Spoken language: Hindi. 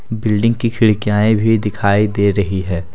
बिल्डिंग की खिड़कियांए भी दिखाई दे रही हैं।